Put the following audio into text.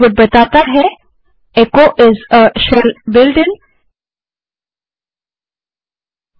output echo को shell builtin के रूप में दिखाता है